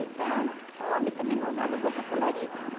Então, o homem também não usava roupa colorida, não.